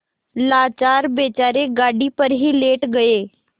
लाचार बेचारे गाड़ी पर ही लेट गये